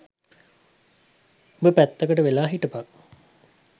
උඹ පැත්තකට වෙලා හිටපන්